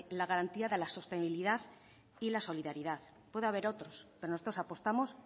la garantía de la sostenibilidad y la solidaridad puede haber otros pero nosotros apostamos